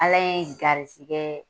Ala ye garizigɛ